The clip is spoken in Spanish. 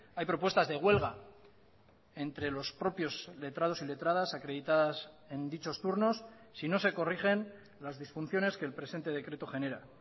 hay propuestas de huelga entre los propios letrados y letradas acreditadas en dichos turnos si no se corrigen las disfunciones que el presente decreto genera